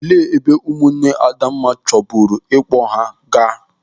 Olee ebe ụmụ nne Adamma chọburu ịkpọ ya gaa?